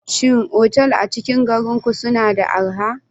Shin otal a cikin garin ku suna da araha?